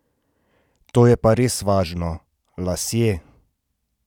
To je pa res važno, lasje!